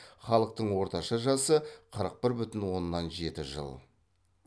халықтың орташа жасы қырық бір бүтін оннан жеті жыл